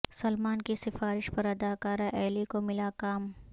سلمان کی سفارش پر ادکارہ ایلی کو ملا کام